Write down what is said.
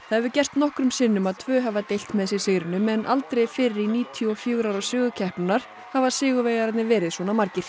hefur gerst nokkrum sinnum að tvö hafa deilt með sér sigrinum en aldrei fyrr í níutíu og fjögur ára sögu keppninnar hafa sigurvegararnir verið svona margir